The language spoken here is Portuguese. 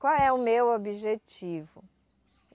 Qual é o meu objetivo?